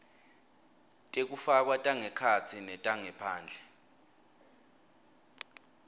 tekufakwa tangekhatsi netangephandle